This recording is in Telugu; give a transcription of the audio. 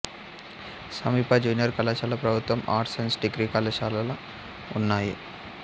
సమీప జూనియర్ కళాశాల ప్రభుత్వ ఆర్ట్స్ సైన్స్ డిగ్రీ కళాశాల ఉన్నాయి